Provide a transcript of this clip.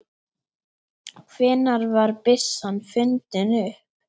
Hvenær var byssan fundin upp?